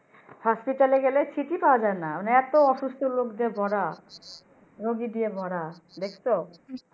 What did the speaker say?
Hospital গেলে Seat ই পাওয়া যায় না এত অসুস্থ লোক দিয়ে ভরা রুগী দিয়ে ভরা দেখছো